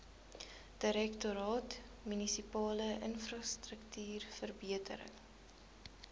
direktoraat munisipale infrastruktuurverbetering